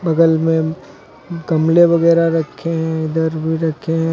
बगल में गमले वगैरा रखे हैं इधर भी रखे हैं।